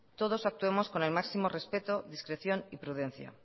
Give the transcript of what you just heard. todos actuemos con el máximo respeto discreción y prudencia